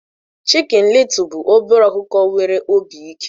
Chicken Little bụ obere ọkụkọ nwere obi ike